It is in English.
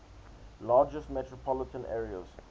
largest metropolitan areas